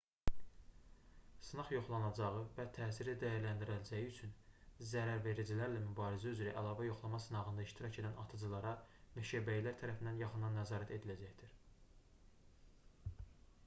sınaq yoxlanacağı və təsiri dəyərləndiriləcəyi üçün zərəvericilərlə mübarizə üzrə əlavə yoxlama sınağında iştirak edən atıcılara meşəbəyilər tərəfindən yaxından nəzarət ediləcəkdir